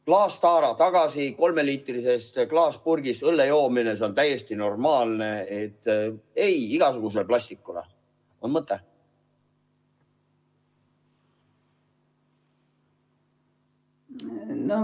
Klaastaara tagasi, kolmeliitrisest klaaspurgist õlle joomine, see on täiesti normaalne, ei igasugusele plastikule – on mõte?